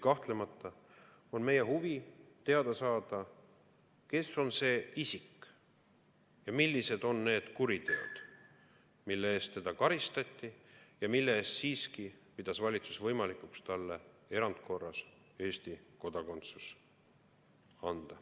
Kahtlemata on meie huvi teada saada, kes on see isik ning millised on need kuriteod, mille eest teda karistati ja millest hoolimata pidas valitsus võimalikuks anda talle erandkorras Eesti kodakondsuse.